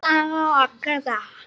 Í dag og alla daga.